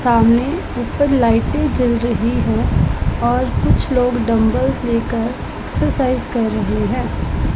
सामने ऊपर लाइटें जल रही हैं और कुछ लोग डंबल लेकर एक्सरसाइज कर रहे हैं।